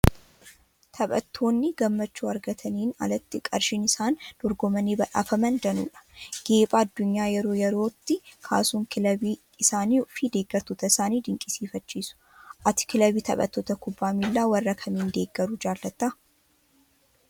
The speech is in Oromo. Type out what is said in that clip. Taphattoonni gammachuu argataniin alatti qarshiin isaan dorgomanii badhaafaman danuu dha. Geepha addunyaa yeroo yerootti kaasuun kilabii isaanii fi deeggartoota isaanii dinqisiifachiisu. Ati kilabii taphattoota kubbaa miilaa warra kamiin deeggaruu jaalatta?